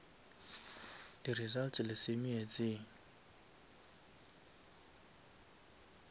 di results le se meetseng